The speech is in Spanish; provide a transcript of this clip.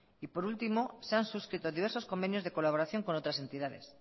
y por último se han suscrito diversos convenios de colaboración con otras entidades